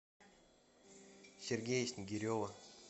сергея снигирева